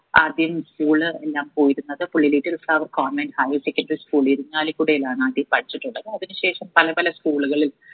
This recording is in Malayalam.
ആദ്യം school എല്ലാം പോയിരുന്നത് Pullilikkal Kavu convent higher secondary school ഇരിങ്ങാലിക്കുടയിലാണ് ആദ്യം പഠിച്ചിട്ടുള്ളത് അതിന് ശേഷം പല പല school കളിൽ